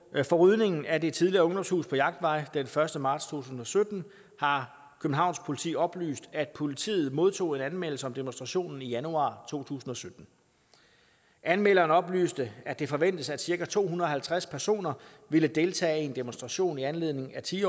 for rydningen af det tidligere ungdomshus på jagtvej den første marts to tusind og sytten har københavns politi oplyst at politiet modtog en anmeldelse af demonstrationen i januar to tusind og sytten anmelderen oplyste at det forventedes at cirka to hundrede og tres personer ville deltage i en demonstration i anledning af ti